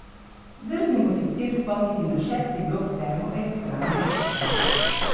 Drznimo si ob tem spomniti na šesti blok Termoelektrarne Šoštanj.